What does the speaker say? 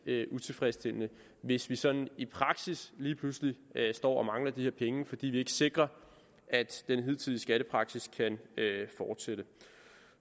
utilfredsstillende hvis vi sådan i praksis lige pludselig står og mangler de her penge fordi vi ikke sikrer at den hidtidige skattepraksis kan fortsætte